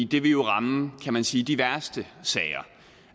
det vil jo ramme kan man sige de værste sager